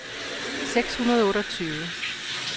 seks hundrede og otteogtyve